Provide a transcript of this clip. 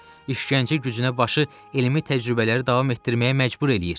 İşgəncə gücünə başı elmi təcrübələri davam etdirməyə məcbur eləyir.